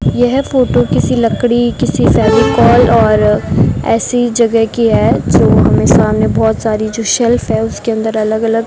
यह फोटो किसी लकड़ी किसी फेविकोल और ऐसी जगह की है जो हमें सामने बहोत सारी जो शेल्फ है उसके अंदर अलग अलग --